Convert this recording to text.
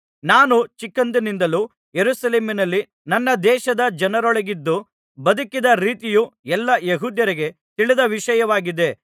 ನಾನು ಚಿಕ್ಕಂದಿನಿಂದಲೂ ಯೆರೂಸಲೇಮಿನಲ್ಲಿ ನನ್ನ ದೇಶದ ಜನರೊಳಗಿದ್ದು ಬದುಕಿದ ರೀತಿಯು ಎಲ್ಲಾ ಯೆಹೂದ್ಯರಿಗೆ ತಿಳಿದ ವಿಷಯವಾಗಿದೆ